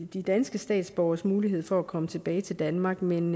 de danske statsborgeres mulighed for at komme tilbage til danmark men